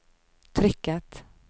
trykket